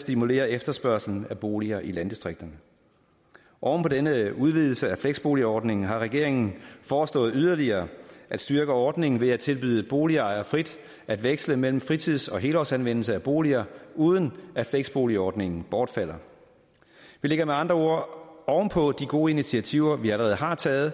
stimulere efterspørgslen af boliger i landdistrikterne oven på denne udvidelse af fleksboligordningen har regeringen foreslået yderligere at styrke ordningen ved at tilbyde boligejere frit at veksle mellem fritids og helårsanvendelse af boliger uden at fleksboligordningen bortfalder vi lægger med andre ord oven på de gode initiativer vi allerede har taget